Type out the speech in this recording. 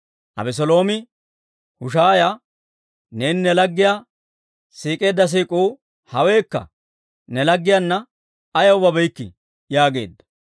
Abeseeloomi Hushaaya, «Neeni ne laggiyaa siik'eedda siik'uu haweekka? Ne laggiyaanna ayaw babeykkii?» yaageedda.